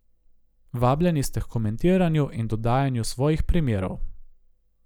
Vabljeni ste h komentiranju in dodajanju svojih primerov.